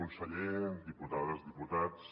conseller diputades diputats